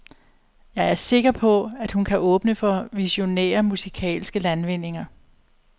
Jeg er sikker på, at hun kan åbne for visionære musikalske landvindinger.